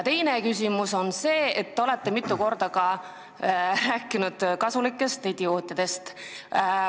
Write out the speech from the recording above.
Teiseks, te olete mitu korda rääkinud kasulikest idiootidest.